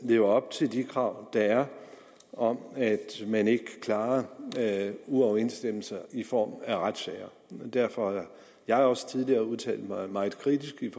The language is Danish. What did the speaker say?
lever op til de krav der er om at man ikke klarer uoverensstemmelser i form af retssager derfor har jeg også tidligere udtalt mig meget kritisk